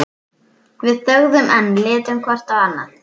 Við þögðum enn, litum hvort á annað.